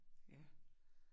Ja